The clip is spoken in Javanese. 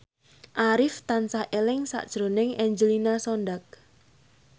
Arif tansah eling sakjroning Angelina Sondakh